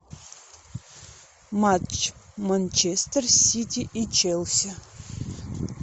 матч манчестер сити и челси